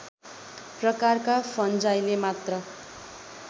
प्रकारका फन्जाइले मात्र